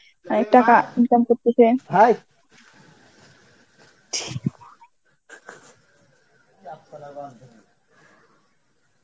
অনেক টাকা income করতেছে.